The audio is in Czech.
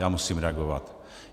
Já musím reagovat.